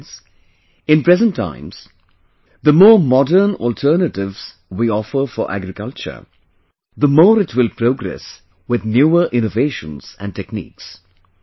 Friends, in presenttimes, the more modern alternatives we offer for agriculture, the more it will progress with newer innovations and techniques